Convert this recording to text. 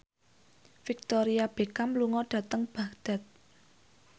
Victoria Beckham lunga dhateng Baghdad